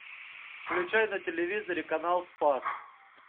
включай на телевизоре канал спас